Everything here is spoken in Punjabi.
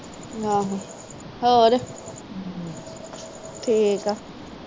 ਆਹੋ ਠੀਕ ਆ